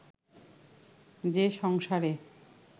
যে সংসারে